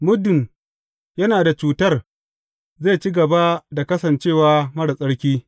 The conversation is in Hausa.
Muddin yana da cutar zai ci gaba da kasance marar tsarki.